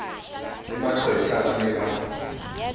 le maqwetha ba ne ba